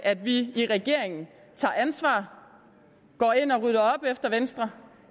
at vi i regeringen tager ansvar går ind og rydder op efter venstre og